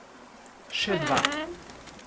Še dva.